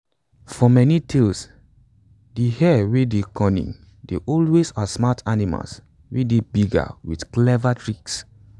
for many tales de hare wey dey cunning dey always outsmart animals wey dey bigger wit clever tricks